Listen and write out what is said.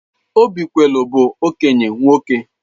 Obikwelu bụ okenye nwoke.